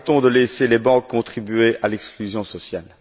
Arrêtons de laisser les banques contribuer à l'exclusion sociale!